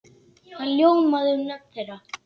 Það ljómaði um nöfn þeirra.